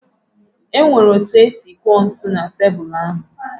O nwere etu o si kụọ ntụ na tebulu ahụ